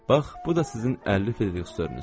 Bax, bu da sizin 50 fiziniz.